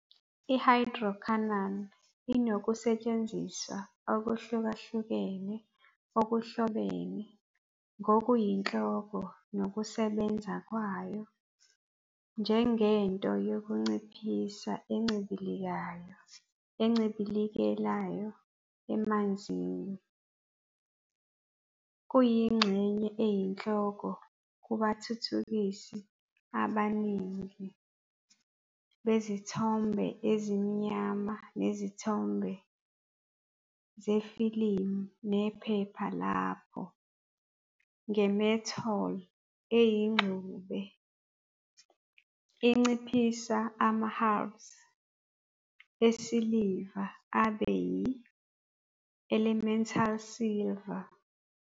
I-Hydroquinone inokusetshenziswa okuhlukahlukene okuhlobene ngokuyinhloko nokusebenza kwayo njengento yokunciphisa encibilikayo encibilekayo emanzini. Kuyingxenye eyinhloko kubathuthukisi abaningi bezithombe ezimnyama nezimhlophe zefilimu nephepha lapho, nge-metol eyingxube, inciphisa ama-halides esiliva abe yi-elemental silver.